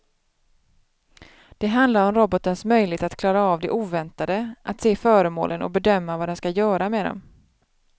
Det handlar om robotens möjlighet att klara av det oväntade, att se föremålen och bedöma vad den ska göra med dem.